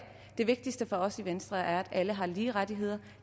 det vigtigste for os i venstre er at alle har lige rettigheder og